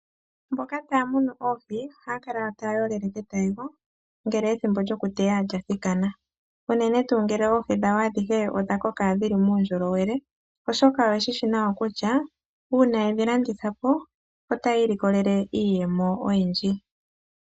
Mboka taya munu oohi ohaya kala taya yolele ketayego, ngele ethimbo lyokuteya lya thikana unene tuu ngele oohi dhawo adhihe odha koka dhi li muundjolowele, oshoka oye shi shi nawa kutya uuna ye dhi landitha po otaya ilikolele iiyemo oyindji.